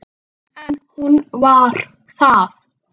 líkt og í fyrra.